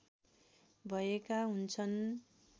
भएका हुन्छन्